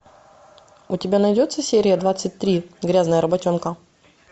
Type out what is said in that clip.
у тебя найдется серия двадцать три грязная работенка